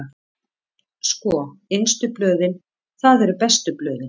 Sko, innstu blöðin, það eru bestu blöðin.